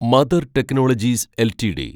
mother Technologies LTD